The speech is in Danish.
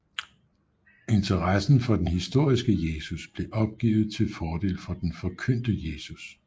Interessen for den historiske Jesus blev opgivet til fordel for den forkyndte Kristus